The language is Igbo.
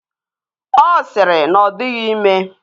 Ọ sịrị na ọ dịghị ime